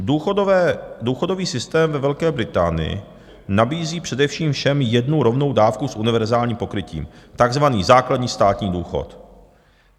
Důchodový systém ve Velké Británii nabízí především všem jednu rovnou dávku s univerzálním pokrytím, takzvaný základní státní důchod.